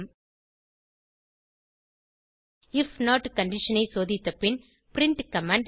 if not condition ஐ சோதித்த பின் பிரின்ட் கமாண்ட்